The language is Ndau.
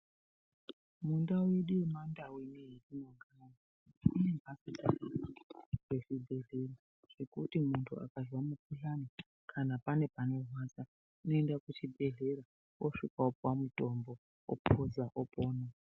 Mundau yedu yemandau inoyi yetinogara kune mbatso dzakanaka dzezvibhehleya zvekuti kana muntu akazwe mikhuhlane kana pane panorwadza unoenda kuchibhehlera osvika opuwa mutombo opuza opona.